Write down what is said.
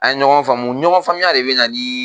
An ye ɲɔgɔn faamu ɲɔgɔn faamuya de be na nii